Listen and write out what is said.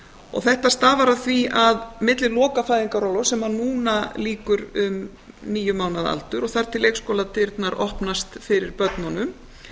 og þetta stafar af því að milli loka fæðingarorlofs sem núna lýkur um níu mánaða aldur og þar til leikskóladyrnar opnast fyrir börnunum